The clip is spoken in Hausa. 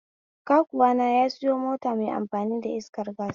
Kakuwana ya sayo mota mai amfani da iskar gas.